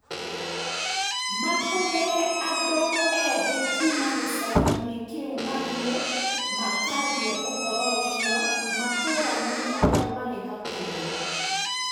Maatũmire andũ ethĩ kuuma gĩcagi-inĩ kĩu mathiĩ makaarie ũhoro ũcio matũũra-inĩ marĩa maarĩ hakuhĩ.